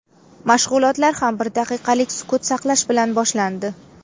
Mashg‘ulotlar ham bir daqiqalik sukut saqlash bilan boshlandi.